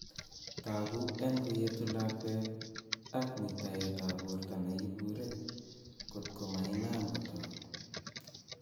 Togu en koyetu lakwet ag muitayet ap Porto ne ipure kot ko ma inam kotok.